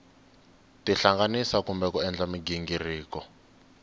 tihlanganisa kumbe ku endla mighingiriko